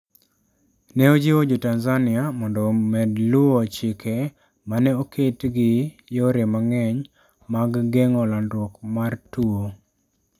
Ne ojiwo Jo Tanzania mondo omed luwo chike ma ne oket gi yore mang'eny mag geng'o landruok mar tuwo.